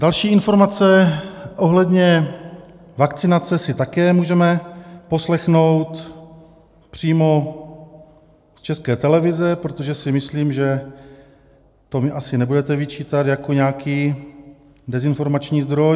Další informace ohledně vakcinace si také můžeme poslechnout přímo z České televize, protože si myslím, že to mi asi nebudete vyčítat jako nějaký dezinformační zdroj.